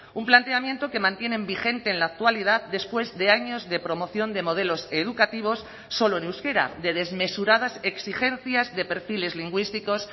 un planteamiento que mantienen vigente en la actualidad después de años de promoción de modelos educativos solo en euskera de desmesuradas exigencias de perfiles lingüísticos